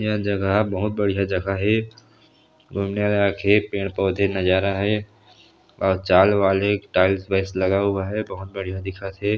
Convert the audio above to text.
यह जगह बहुत बढ़िया जगह हे सुन्दर आछे पेड़-पौधे नजारा हे अऊ चाल वाल हे टाइल्स वाइल्स लगा हुआ है बहुत बढ़िया दिखत हे।